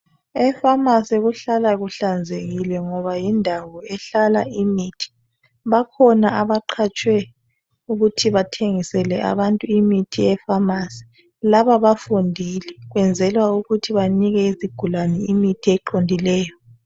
Efamasi kuhlala kuhlanzekile ngoba yindawo ehlala imithi, bakhona abaqhatshwe ukuthi bathengisele abantu imithi efamasi. Laba bafundile benzela ukuthi banike izigulane imithi eqondileyo.